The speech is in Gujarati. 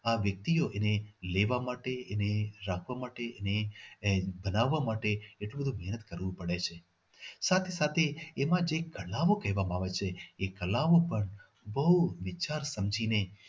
આ વ્યક્તિઓ એને લેવા માટે એને એને રાખવા માટે એને એને બનવા માટે એટલું બધું મહેનત કરવું પડે છે સાથે સાથે એમાં જે કળાઓ કરવામાં આવે છે એ કળાઓ પણ બહુ વિચાર સમજીને